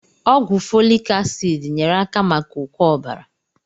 Ọgwụ fọlik asịd nyere aka maka ụkọ ọbara.